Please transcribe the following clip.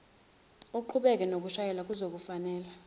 uqhubeke nokushayela kuzokufanela